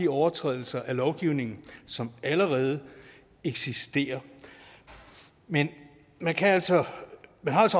overtrædelser af lovgivning som allerede eksisterer men man har altså